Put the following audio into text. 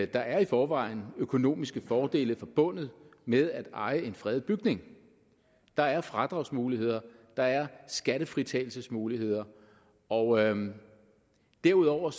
der i forvejen er økonomiske fordele forbundet med at eje en fredet bygning der er fradragsmuligheder der er skattefritagelsesmuligheder og derudover